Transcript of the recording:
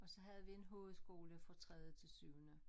Og så havde vi en hovedskole fra tredje til syvende